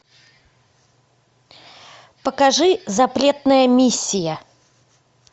покажи запретная миссия